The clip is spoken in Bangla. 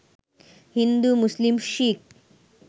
হিন্দু, মুসলিম, শিখ